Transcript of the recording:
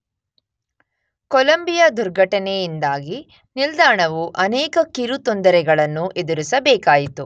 Columbia ದುರ್ಘಟನೆಯಿಂದಾಗಿ ನಿಲ್ದಾಣವು ಅನೇಕ ಕಿರು ತೊಂದರೆಗಳನ್ನು ಎದುರಿಸಬೇಕಾಯಿತು.